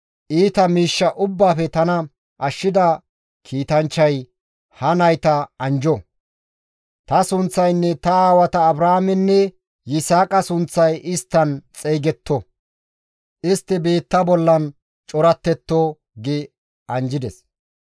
iita miishsha ubbaafe tana ashshida kiitanchchay, ha nayta anjjo. Ta sunththaynne ta aawata Abrahaamenne Yisaaqa sunththay isttan xeygetto. Istti biitta bollan corattetto» gi anjjides.